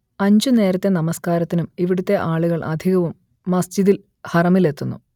അഞ്ചു നേരത്തെ നമസ്കാരത്തിനും ഇവിടുത്തെ ആളുകൾ അധികവും മസ്ജിദുൽ ഹറമിലെത്തുന്നു